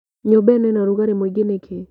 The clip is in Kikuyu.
Nyũmba ĩno ĩna rũgarĩ mũingĩ nĩkĩ?